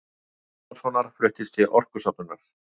Pálmasonar fluttist til Orkustofnunar.